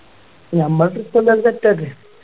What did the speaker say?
നമ്മ Trip എന്തായാലും Set ആക്ക്